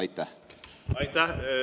Aitäh!